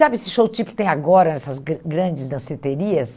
Sabe esse show tipo que tem agora, essas gran grandes danceterias?